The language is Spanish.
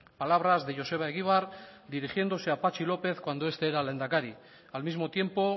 palabras de joseba egibar dirigiéndose a patxi lópez cuando este era lehendakari al mismo tiempo